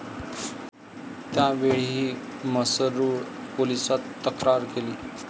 त्यावेळीही म्हसरूळ पोलिसात तक्रार केली.